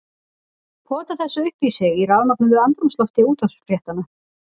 Pota þessu upp í sig í rafmögnuðu andrúmslofti útvarpsfréttanna.